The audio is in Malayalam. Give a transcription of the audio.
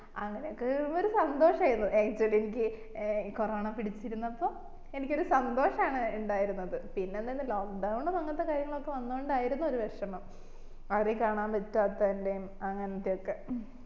അങ്ങനൊക്കെ വരും ഒരു സന്തോഷായിരുന്നു actually എനിക്ക് ഏർ കൊറോണ പിടിച്ചിരുന്നപ്പം എനിക്കൊരു സന്തോഷം ആണ് ഇണ്ടായിരുന്നത് പിന്നെ എന്തിന്ന് lock down ഉം അങ്ങനത്തെ കാര്യങ്ങളൊക്കെ വന്നോണ്ടായിരുന്നു ഒരു വിഷമം ആരേം കാണാൻ പറ്റാത്തന്റേം അങ്ങനത്തെയൊക്കെ